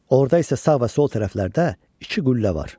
Orda isə sağ və sol tərəflərdə iki qüllə var.